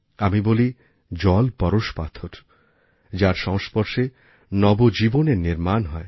আমি বলি জল পরশপাথর যার সংস্পর্শে নবজীবনের নির্মাণ হয়